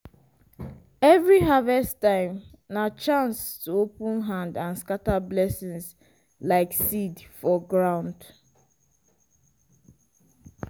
every harvest time na chance to open hand and scatter blessing like seed for ground.